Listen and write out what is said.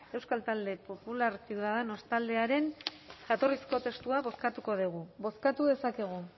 euskal talde popular ciudadanos taldearen jatorrizko testua bozkatuko dugu bozkatu dezakegu